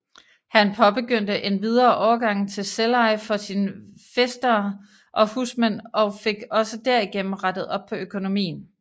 Han påbegyndte endvidere overgangen til selveje for sin fæstere og husmænd og fik også derigennem rettet op på økonomien